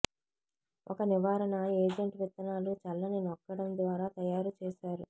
ఒక నివారణ ఏజెంట్ విత్తనాలు చల్లని నొక్కడం ద్వారా తయారు చేశారు